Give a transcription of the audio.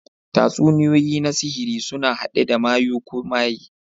Tatsuniyoyi na sihiri suna haɗe da mayu ko maye.